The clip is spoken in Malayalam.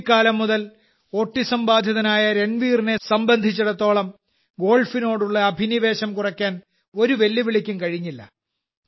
കുട്ടിക്കാലം മുതൽ ഓട്ടിസം ബാധിതനായ രൺവീറിനെ സംബന്ധിച്ചിടത്തോളം ഗോൾഫിനോടുള്ള അഭിനിവേശം കുറയ്ക്കാൻ ഒരു വെല്ലുവിളിക്കും കഴിഞ്ഞില്ല